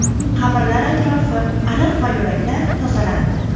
Qabrlar atrofi, ariq va yo‘laklar tozalandi.